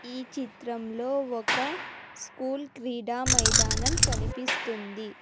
ఈ చిత్రంలో ఒక స్కూల్ క్రీడా మైదానం కనిపిస్తుంది